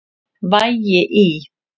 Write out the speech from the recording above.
Vægi í